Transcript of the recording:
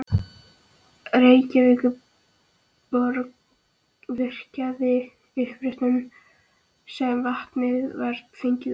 Reykjavíkurborg virkjaði uppsprettuna sem vatnið var fengið úr.